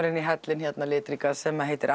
inn í hellinn litríka sem heitir